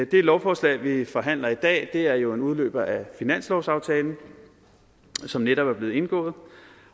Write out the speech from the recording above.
det lovforslag vi forhandler i dag er jo en udløber af finanslovsaftalen som netop er blevet indgået